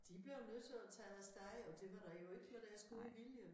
De blev jo nødt til at tage deres eget og det var da jo ikke med deres gode vilje